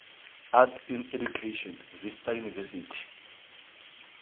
arts in education vista university